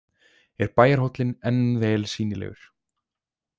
Er bæjarhóllinn enn vel sýnilegur.